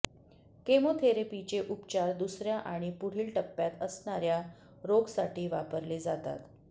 केमोथेरपीचे उपचार दुसऱ्या आणि पुढील टप्प्यात असणाऱ्या रोगसाठी वापरले जातात